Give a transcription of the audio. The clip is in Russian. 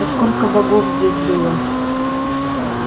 а сколько богов здесь было